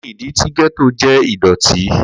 Kini idi ti getto jẹ idọti?